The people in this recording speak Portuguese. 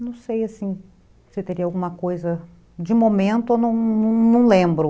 Não sei assim, se teria alguma coisa, de momento, eu eu não lembro.